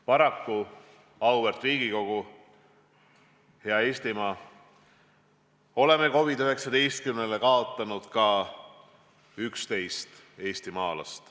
Paraku, auväärt Riigikogu, hea Eestimaa, oleme viirusele COVID-19 kaotanud 11 eestimaalast.